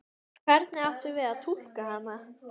Hvernig áttum við að túlka hana?